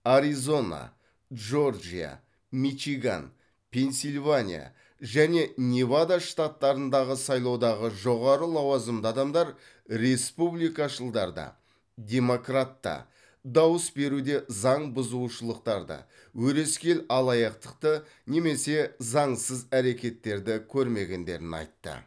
аризона джорджия мичиган пенсильвания және невада штаттарындағы сайлаудағы жоғары лауазымды адамдар республикашылдарды демократты дауыс беруде заң бұзушылықтарды өрескел алаяқтықты немесе заңсыз әрекеттерді көрмегендерін айтты